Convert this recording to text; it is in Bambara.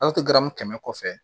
kɛmɛ kɔfɛ